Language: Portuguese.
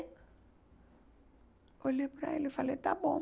olhei para ele, eu falei, está bom.